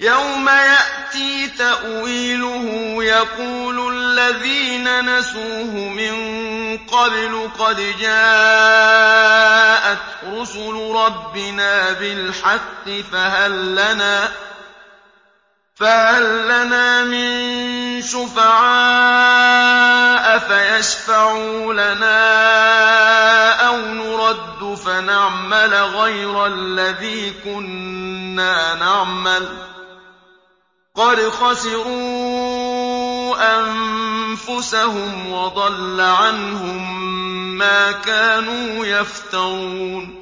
يَوْمَ يَأْتِي تَأْوِيلُهُ يَقُولُ الَّذِينَ نَسُوهُ مِن قَبْلُ قَدْ جَاءَتْ رُسُلُ رَبِّنَا بِالْحَقِّ فَهَل لَّنَا مِن شُفَعَاءَ فَيَشْفَعُوا لَنَا أَوْ نُرَدُّ فَنَعْمَلَ غَيْرَ الَّذِي كُنَّا نَعْمَلُ ۚ قَدْ خَسِرُوا أَنفُسَهُمْ وَضَلَّ عَنْهُم مَّا كَانُوا يَفْتَرُونَ